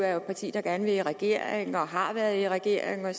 er et parti der gerne vil i regering og har været i regering og